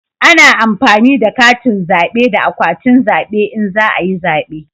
Ana amfani da katin zabe da akwatin zabe in za a yi zabe